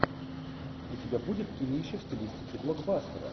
у тебя будет кинище в стилистике блокбастера